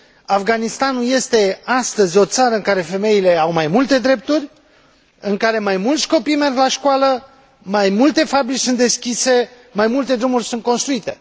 Afganistanul este astăzi o țară în care femeile au mai multe drepturi, în care mai mulți copii merg la școală, mai multe fabrici sunt deschise, mai multe drumuri sunt construite.